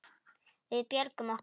Við björgum okkur.